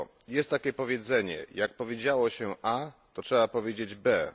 Jest takie powiedzenie jak powiedziało się a, to trzeba powiedzieć be.